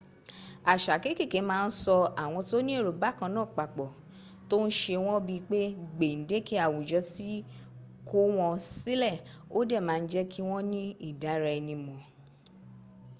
àṣà kekeke ma n so àwọn tó ní èrò bákanaa papọ̀ to n ṣe wọ́́n bii pé gbendeke awujo ti kọ̀ wọ́́n sílẹ̀ ó dẹ̀ ma n jẹ́kí wọ́́n ní idaraenimo